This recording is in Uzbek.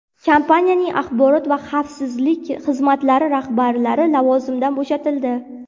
Kompaniyaning axborot va xavfsizlik xizmatlari rahbarlari lavozimidan bo‘shatildi.